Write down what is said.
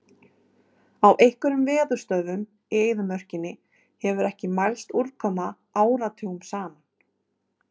Á einhverjum veðurstöðvum í eyðimörkinni hefur ekki mælst úrkoma áratugum saman.